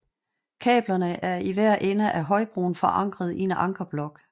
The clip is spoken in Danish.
Kablerne er i hver ende af højbroen forankret i en ankerblok